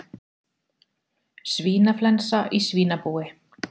Svínaflensa í svínabúi